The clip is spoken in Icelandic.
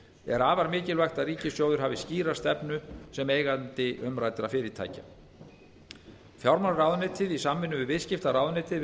er afar mikilvægt að ríkissjóður hafi skýra stefnu sem eigandi umræddra fyrirtækja fjármálaráðuneytið í samvinnu við viðskiptaráðuneytið